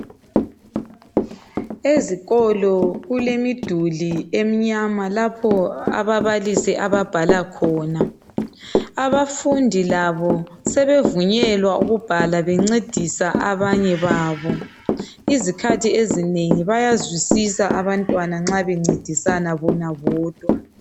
Ezikolo kulemiduli emnyama lapho ababalisi ababhala khona abafundi labo sebevunyelwa ukubhala bencedisa abanye babo izikhathi ezinengi bayazwisisa abantwana nxa bencedisana bona bodwa.